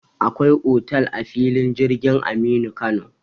Akwai otal a filin jirgin Aminu Kano.